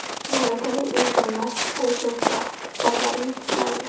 Malakali insonlar, resurslar, quvvatlar yetishmaydi.